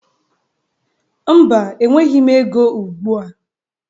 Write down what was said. Mba, enweghi m ego ugbụa.